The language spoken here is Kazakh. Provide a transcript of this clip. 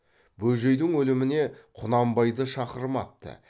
бөжейдің өліміне құнанбайды шақырмапты